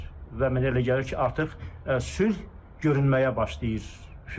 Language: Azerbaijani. Və mən elə gəlir ki, artıq sülh görünməyə başlayır hüquqda.